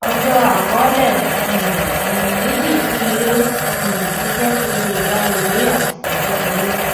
ọjó àkọólè um ònà méjì tí ilé um iṣé fi lè gba ìwé àsìkò kékeré